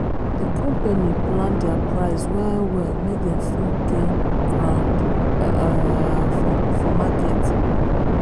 the company plan their price well well make dem still fit gain ground um for market.